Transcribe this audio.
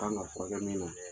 Kan ka fura kɛ min na.